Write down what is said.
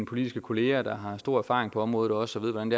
politiske kollegaer der har stor erfaring på området og også ved hvordan